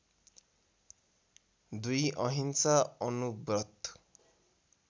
२ अहिंसा अणुव्रत